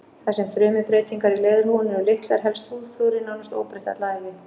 Þar sem frumubreytingar í leðurhúðinni eru litlar helst húðflúrið nánast óbreytt alla ævi.